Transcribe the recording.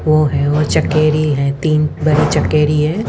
वो हैं और चटकेरी हैं तीन चटकेरी हैं।